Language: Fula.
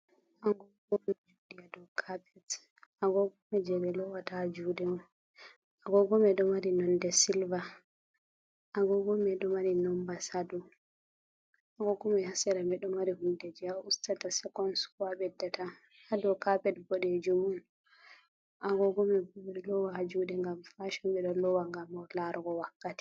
Agogo ɗo juɗi ha ɗau kapet. Agogomai je be luwata ha juuɗe. Agogomai ɗo mari nonde silver. Agogomai ɗo mari nombas ha dau. Agogomai ha sera ɗo mari hundeji je a ustata sekon, ko a besɗata, ha dau kapet buɗeejum. Agogomai bo beɗo loowa ha juude gam fashon. Be ɗo luwa gam larugo wakkati.